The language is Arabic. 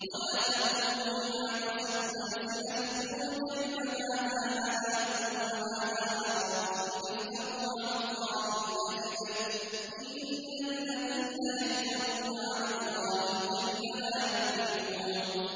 وَلَا تَقُولُوا لِمَا تَصِفُ أَلْسِنَتُكُمُ الْكَذِبَ هَٰذَا حَلَالٌ وَهَٰذَا حَرَامٌ لِّتَفْتَرُوا عَلَى اللَّهِ الْكَذِبَ ۚ إِنَّ الَّذِينَ يَفْتَرُونَ عَلَى اللَّهِ الْكَذِبَ لَا يُفْلِحُونَ